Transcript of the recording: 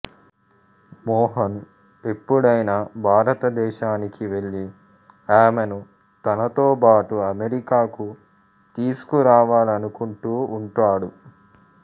మోహన్ ఎప్పుడైనా భారతదేశానికి వెళ్ళి ఆమెను తనతోబాటు అమెరికాకు తీసుకురావాలనుకుంటూ ఉంటాడు